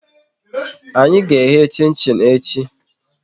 Anyị ga eghe chin chin echi